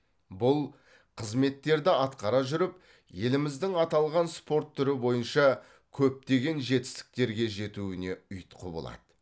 бұл қызметтерді атқара жүріп еліміздің аталған спорт түрі бойынша көптеген жетістіктерге жетуіне ұйытқы болады